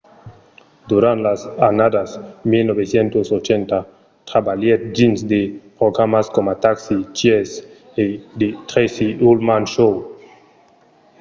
durant las annadas 1980 trabalhèt dins de programas coma taxi cheers e the tracy ullman show